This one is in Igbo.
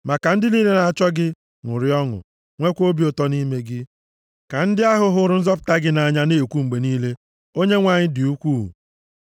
Ma ka ndị niile na-achọ gị ṅụrịa ọṅụ, nweekwa obi ụtọ nʼime gị; ka ndị ahụ hụrụ nzọpụta gị nʼanya na-ekwu mgbe niile, “ Onyenwe anyị dị ukwuu.”